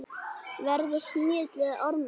Verði snigill eða ormur.